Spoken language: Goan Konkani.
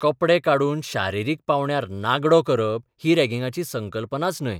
कपडे काडून शारिरीक पावंड्यार नागडो करप ही रॅगिंगाची संकल्पनाच न्हय.